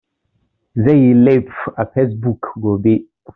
Zai yi laif a fesbuk gobe